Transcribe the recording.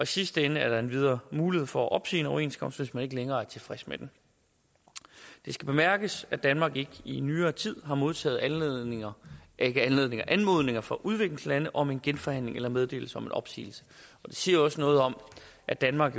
sidste ende er der endvidere mulighed for at opsige en overenskomst hvis man ikke længere er tilfreds med den det skal bemærkes at danmark ikke i nyere tid har modtaget anmodninger fra udviklingslande om genforhandling eller meddelelse om opsigelse det siger også noget om at danmark